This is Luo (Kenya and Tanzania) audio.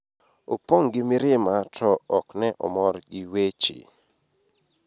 opong' gi mirima to ok ne omor gi weche